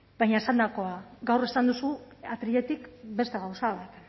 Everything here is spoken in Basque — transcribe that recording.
baina esandakoa gaur esan duzu atriletik beste gauza bat